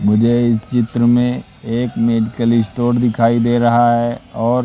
मुझे इस चित्र में एक मैथिली स्टोर दिखाई दे रहा है और--